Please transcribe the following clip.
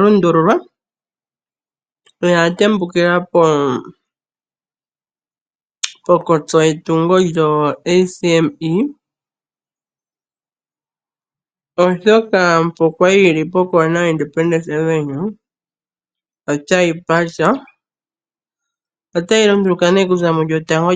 lundululwa noya tembukila ponkotso yetungo lyo-ACME oshoka mpo kwali yi li pokoona yo Independence avenue otayi pata. Otayi lunduluka nee okuza mu lyotango lyaDecemba 2023.